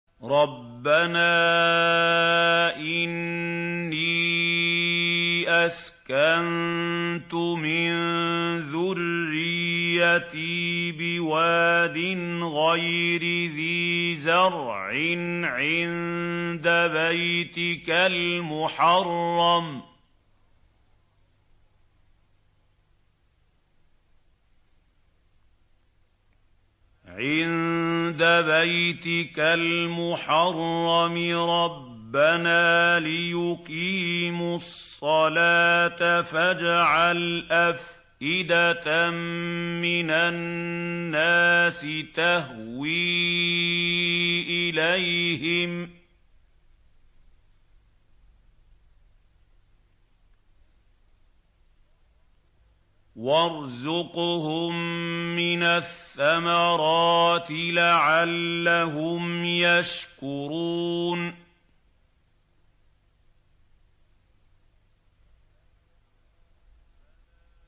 رَّبَّنَا إِنِّي أَسْكَنتُ مِن ذُرِّيَّتِي بِوَادٍ غَيْرِ ذِي زَرْعٍ عِندَ بَيْتِكَ الْمُحَرَّمِ رَبَّنَا لِيُقِيمُوا الصَّلَاةَ فَاجْعَلْ أَفْئِدَةً مِّنَ النَّاسِ تَهْوِي إِلَيْهِمْ وَارْزُقْهُم مِّنَ الثَّمَرَاتِ لَعَلَّهُمْ يَشْكُرُونَ